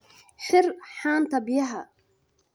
Xir haanta biyaha.